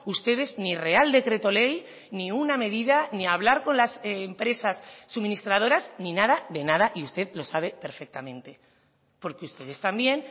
ustedes ni real decreto ley ni una medida ni hablar con las empresas suministradoras ni nada de nada y usted lo sabe perfectamente porque ustedes también